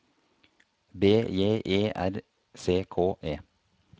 B J E R C K E